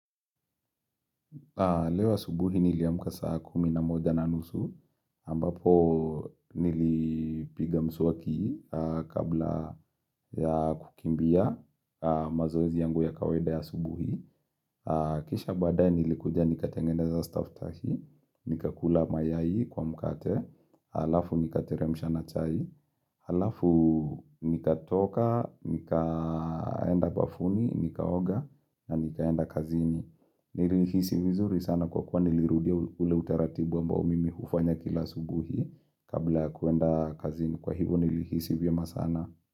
Leo asubuhi niliamka saa kumi na moja na nusu, ambapo nilipiga mswaki kabla ya kukimbia mazoezi yangu ya kawaida ya asubuhi. Kisha baadaye nilikuja nikatengeneza staftahi, nikakula mayai kwa mkate, halafu nikateremsha na chai, halafu nikatoka, nikaenda bafuni, nikaoga, na nikaenda kazini. Nilihisi vizuri sana kwa kuwa nilirudia ule utaratibu ambao mimi hufanya kila asubuhi. Kabla kuenda kazini kwa hivo nilihisi vyema sana.